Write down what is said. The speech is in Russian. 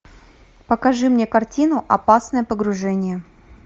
покажи мне картину опасное погружение